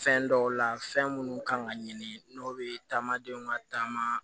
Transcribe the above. Fɛn dɔw la fɛn minnu kan ka ɲini n'o bɛ taamadenw ka taama